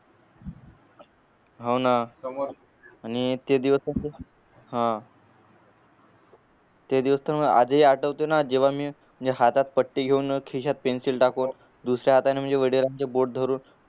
हाव ना आणि ते दिवस हा ते दिवस तर मला आज ही आठवतो ना जेव्हा मी हातात पट्टी घेऊन खिश्यात पेन्सिल टाकून दुसऱ्या हाताने बोट धरून